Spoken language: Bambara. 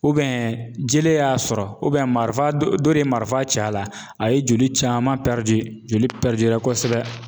jele y'a sɔrɔ marifa dɔ dɔ de ye marifa ci a la, a ye joli caman joli kosɛbɛ